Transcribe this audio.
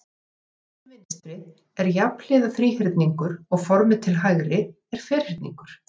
Formið til vinstri er jafnhliða þríhyrningur og formið til hægri er ferningur.